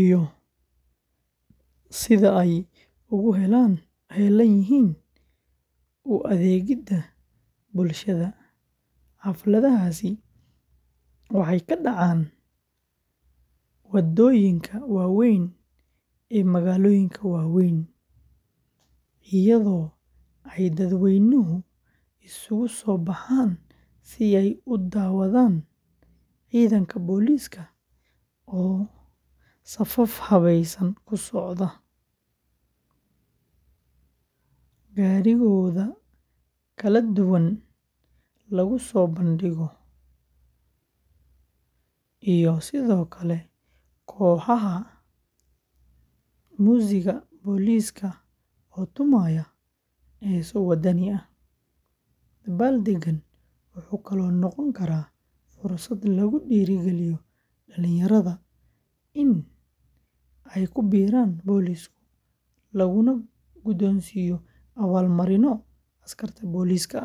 iyo sida ay ugu heelan yihiin u adeegidda bulshada; xafladahaasi waxay ka dhacaan waddooyinka waaweyn ee magaalooyinka waaweyn, iyadoo ay dadweynuhu isugu soo baxaan si ay u daawadaan ciidanka booliiska oo safaf habaysan ku socda, gaadiidkooda kala duwan lagu soo bandhigo, iyo sidoo kale kooxaha muusigga booliiska oo tumaya heeso waddani ah; dabaaldeggan wuxuu kaloo noqon karaa fursad lagu dhiirrigeliyo dhalinyarada in ay ku biiraan booliiska, laguna guddoonsiiyo abaalmarinno askarta booliiska ah.